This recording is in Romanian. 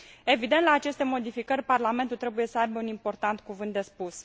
Evident, la aceste modificări Parlamentul trebuie să aibă un important cuvânt de spus.